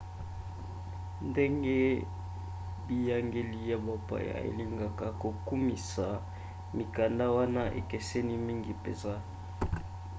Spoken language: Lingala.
ndenge biyangeli ya bapaya elingaka kokumisa mikanda wana ekeseni mingi mpenza